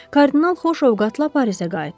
Kardinal xoş ovqatla Parisə qayıtdı.